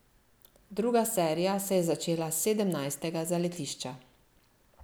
Druga serija se je začela s sedemnajstega zaletišča.